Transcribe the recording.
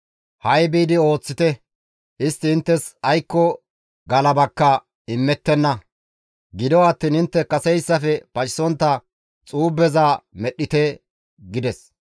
Ha7i biidi ooththite; istti inttes aykko galabaka immettenna; gido attiin intte kaseyssafe pacisontta xuubeza medhdhite» gides.